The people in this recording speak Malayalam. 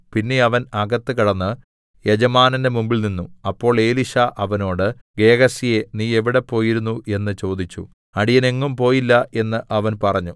പിന്നെ അവൻ അകത്ത് കടന്ന് യജമാനന്റെ മുമ്പിൽനിന്നു അപ്പോൾ എലീശാ അവനോട് ഗേഹസിയേ നീ എവിടെ പോയിരുന്നു എന്ന് ചോദിച്ചു അടിയൻ എങ്ങും പോയില്ല എന്ന് അവൻ പറഞ്ഞു